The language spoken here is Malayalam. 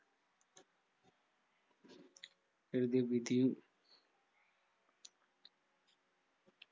എഴുതിയ വിധിയും